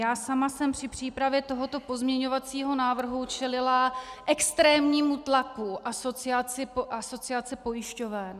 Já sama jsem při přípravě tohoto pozměňovacího návrhu čelila extrémnímu tlaku Asociace pojišťoven.